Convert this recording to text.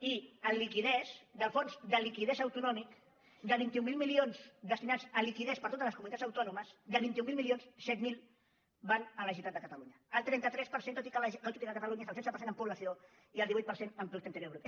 i en liquiditat del fons de liquiditat autonòmic de vint mil milions destinats a liquiditat per a totes les comunitats autònomes de vint mil milions set mil van a la gene·ralitat de catalunya el trenta tres per cent tot i que catalunya és el setze per cent en població i el divuit per cent en produc·te interior brut